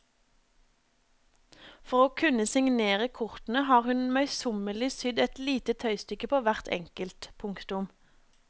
For å kunne signere kortene har hun møysommelig sydd et lite tøystykke på hvert enkelt. punktum